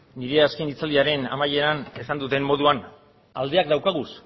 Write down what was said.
nire azken hitzaldiaren amaieran esan dudan moduan aldeak dauzkagu